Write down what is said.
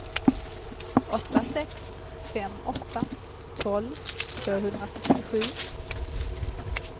åtta sex fem åtta tolv tvåhundrasextiosju